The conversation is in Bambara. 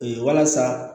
walasa